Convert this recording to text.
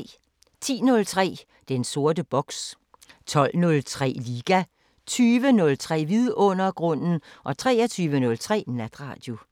10:03: Den sorte boks 12:03: Liga 20:03: Vidundergrunden 23:03: Natradio